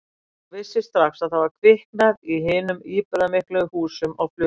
Og vissi strax að það var kviknað í hinum íburðarmiklu húsum á Flugumýri.